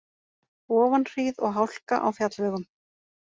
Ofanhríð og hálka á fjallvegum